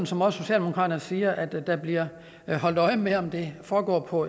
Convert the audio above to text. som også socialdemokraterne siger at der bliver holdt øje med om det foregår på